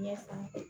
Ɲɛsan